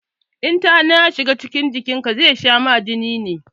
In tana ya shiga cikin jikin ka zai sha ma jini